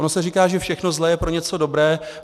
Ono se říká, že všechno zlé je pro něco dobré.